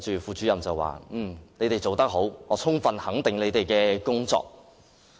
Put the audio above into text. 副主任對他們說："你們做得好，我充分肯定你們的工作。